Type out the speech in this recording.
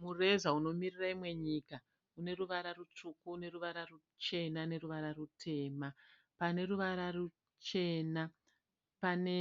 Mureza unomirira imwe nyika une ruvara rutsvuku neruvara ruchena neruvara rutema. Pane ruvara ruchena pane